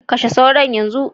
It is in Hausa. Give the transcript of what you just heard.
Kashe sauron yanzu.